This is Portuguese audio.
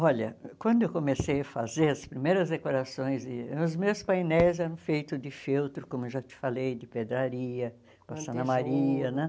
Olha, quando eu comecei a fazer as primeiras decorações de, os meus painéis eram feitos de feltro, como eu já te falei, de pedraria, passando a maria, né?